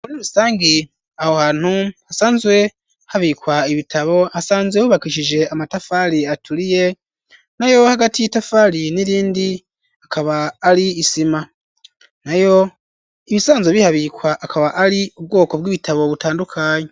Muri rusangi aho hantu hasanzwe habikwa ibitabo, hasanzwe hubakishije amatafari aturiye, na yo hagati y'itafari n'irindi akaba ari isima, nayo ibisanzwe bihabikwa akaba ari ubwoko bw'ibitabo bitandukanye.